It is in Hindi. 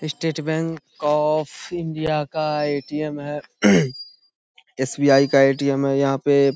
स्टेट बैंक ऑफ़ इंडिया का ए.टी.एम. है। एस.बी.आई. का ए.टी.एम. हैं यहाँ पे।